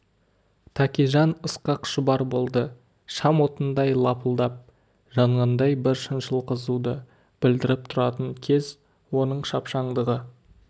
тәкежан ысқақ шұбар болды шам отындай лапылдап жанғандай бір шыншыл қызуды білдіріп тұратын кез оның шапшаңдығы